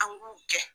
An b'u gɛn